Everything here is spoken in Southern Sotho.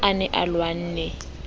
ha a ne a lwanne